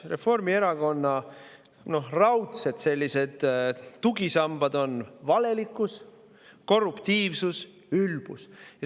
Reformierakonna raudsed tugisambad on valelikkus, korruptiivsus ja ülbus.